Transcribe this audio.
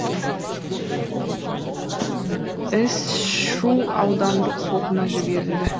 іс шу аудандық сотына жіберілді